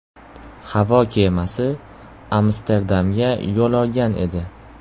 Havo kemasi Amsterdamga yo‘l olgan edi.